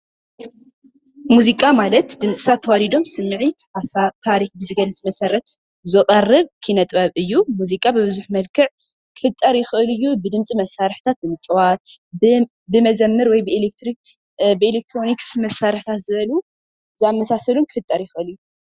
ምዚቃ ማለት ዲምፅታት ተዋዲዶሞስሚዒትሓሳብ ታርክ ዝገልፅ መሰረትዝቀርብ ክነጥበብ አዩ፡፡ ምዚቃ ብቡዝሕ መልክዕ ክፍጠረ ይክእልእዩ፡፡ ብዲምፅ መሳርሕታትምፅዋትብመዝምር፣ ብኤሌክትሮኒክስ መሳርሕታት ዝበሉ ዝኣማሳሰሉ ክፈጠረ ይክእል እዩ፡፡